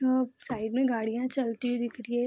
side में गाड़ियां चलती हुई दिख रही है |